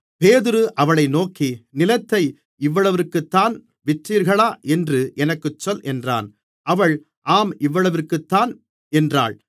பேதுரு அவளை நோக்கி நிலத்தை இவ்வளவிற்குத்தான் விற்றீர்களா என்று எனக்குச் சொல் என்றான் அவள் ஆம் இவ்வளவிற்குத்தான் என்றாள்